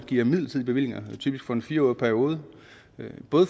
giver midlertidige bevillinger typisk for en fire årig periode